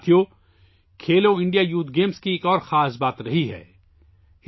ساتھیو، Khelo India youth games کی ایک اور خاص بات سامنے آئی ہے